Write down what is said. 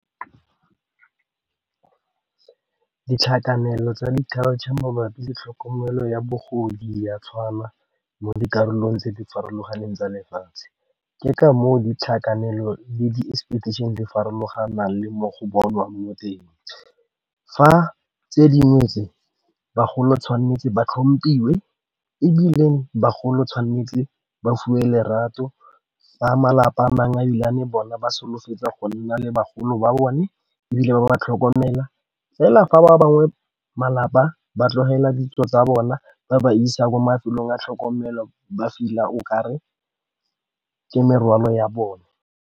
Di tlhakanelo tsa mabapi le tlhokomelo ya bogodi ya tshwana mo dikarolong tse di farologaneng tsa lefatshe, ke ka moo di tlhakanelo le di farologana le mo go bonwa mo teng fa tse dingwe tse bagolo tshwanetse ba tlhomphiwa ebile bagolo tshwanetse ba fiwe lerato ba malapa a mangwe ebilane bona ba solofetsa go nna le bagolo ba bone ebile ba ba tlhokomela fela fa ba bangwe malapa ba tlogela ditso tsa bona ba ba isa kwa mafelong a tlhokomelo ba feel-a o ka re ke merwalo ya bone.